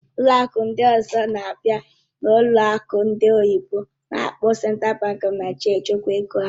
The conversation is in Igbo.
Ụlọ akụ ndị ọzọ na-abịa n'ụlọ akụ ndị oyibo n'akpọ Central Bank of Nigeria echekwa ego ha.